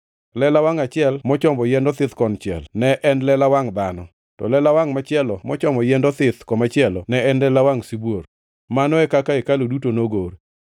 lela wangʼ achiel mochomo yiend othith konchiel ne en lela wangʼ dhano, to lela wangʼ machielo mochomo yiend othith komachielo ne en lela wangʼ sibuor. Mano e kaka hekalu duto nogor.